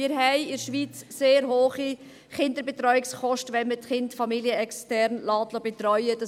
Wir haben in der Schweiz sehr hohe Kinderbetreuungskosten, wenn man die Kinder familienextern betreuen lässt.